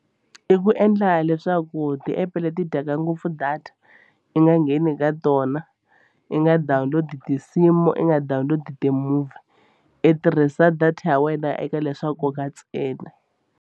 I ku endla leswaku ti-app leti dyaka ngopfu data i nga ngheni ka tona i nga download tinsimu i nga download ti-movie i tirhisa data ya wena eka le swa nkoka ntsena.